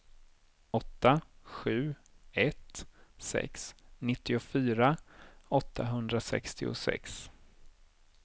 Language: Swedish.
åtta sju ett sex nittiofyra åttahundrasextiosex